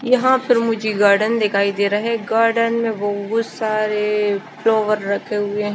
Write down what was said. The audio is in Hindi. यहाँ पर मुझे गार्डन दिखाई दे रहा हैं गार्डन में बहुत सारे फ़्लॉवर रखें हुए--